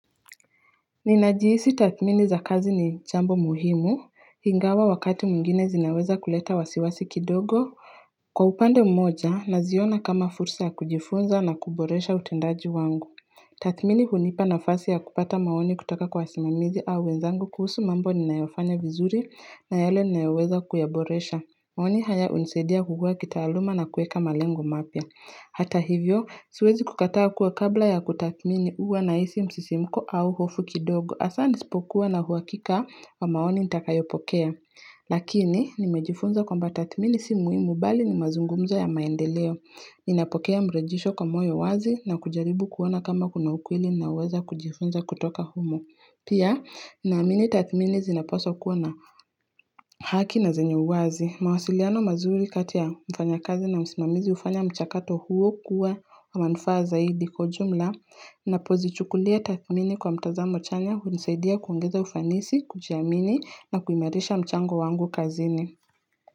Ninajihisi tathmini za kazi ni jambo muhimu ingawa wakati mwingine zinaweza kuleta wasiwasi kidogo Kwa upande mmoja naziona kama fursa ya kujifunza na kuboresha utendaji wangu Tathmini hunipa nafasi ya kupata maoni kutoka kwa wasimamizi au wenzangu kuhusu mambo ninayofanya vizuri na yale ninayoweza kuyaboresha maoni haya hunisadia kukua kitaluma na kuweka malengo mapya. Hata hivyo, siwezi kukataa kuwa kabla ya kutatmini huwa na hisi msisimuko au hofu kidogo. Hasa nisipokuwa na uhuakika wa maoni nitakayopokea. Lakini, nimejifunza kamba tathmini si muhimu bali ni mazungumzo ya maendeleo. Ninapokea mrejesho kwa moyo wazi na kujaribu kuona kama kuna ukweli naweza kujifunza kutoka humo. Pia, naamini tathmini zinapaswa kuwa na haki na zenye uwazi. Mawasiliano mazuri kati ya mfanyakazi na musimamizi hufanya mchakato huo kuwa wa manufaa zaidi kwa ujumla napozichukulia tathmini kwa mtazamo chanya hunisaidia kuogeza ufanisi, kujiamini na kuimarisha mchango wangu kazini.